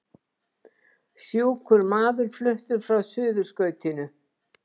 Sjúkur maður fluttur frá Suðurskautinu